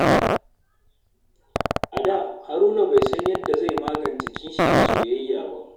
A da, Haruna bai san yadda zai magance kishi a soyayya ba.